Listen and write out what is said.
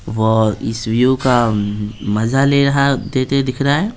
वो इस व्यू का मजा ले रहा देते दिख रहा है।